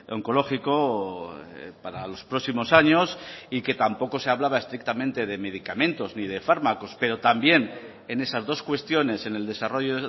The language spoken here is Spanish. oncológico para los próximos años y que tampoco se hablaba estrictamente de medicamentos ni de fármacos pero también en esas dos cuestiones en el desarrollo